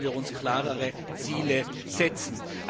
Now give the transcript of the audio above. Hier sollten wir uns klarere Ziele setzen.